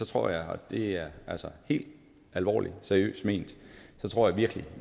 tror jeg og det er altså helt alvorligt og seriøst ment virkelig